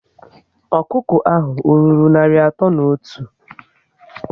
Ọkụkọ ahụ ọ rụrụ narị atọ na otu?